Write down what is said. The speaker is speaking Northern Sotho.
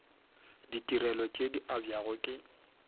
ditirelo tše di abjago ke